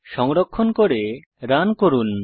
সংরক্ষণ করে রান করুন